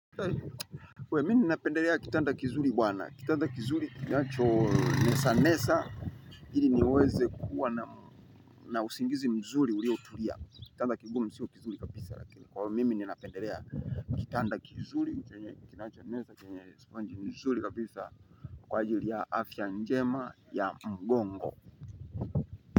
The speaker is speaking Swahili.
We mininapenderea kitanda kizuri bwana. Kitanda kizuri nacho nesanesa ili niweze kuwa na usingizi mzuri uriotulia. Kitanda kigumu sio kizuri kabisa lakini kwa mimi ninapenderea kitanda kizuri kinacho nesha kenye sponji mzuri kabisa kwa ajili ya afya njema ya mgongo.